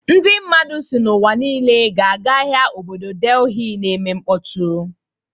Ndị mmadụ si n'ụwa niile ga-aga ahịa obodo Delhi na-eme mkpọtụ.